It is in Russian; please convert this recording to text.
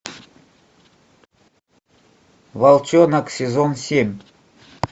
волчонок сезон семь